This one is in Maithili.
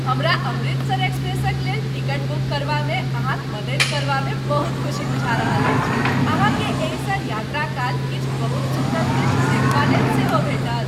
हमरा 'अमृतसर एक्सप्रेस'क लेल टिकट बुक करबामे अहाँक मदति करबामे बहुत खुसी बुझा रहल अछि, अहाँकेँ एहिसँ यात्राकाल किछु बहुत सुंदर दृश्य देखबालेल सेहो भेटत।